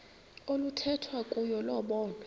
oluthethwa kuyo lobonwa